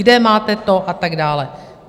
Kde máte to, a tak dále?